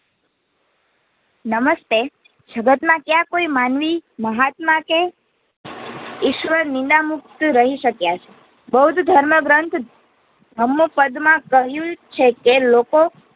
નમસ્તે જગત માં ક્યાં કોઈ માનવી મહાત્મા કે ઈશ્વર નીંદમુક્ત મુક્ત રહી શક્યા છે. બૌદ્ધ ધર્મ ગ્રંથ હમ પદ માં કહ્યું છે કે લોકો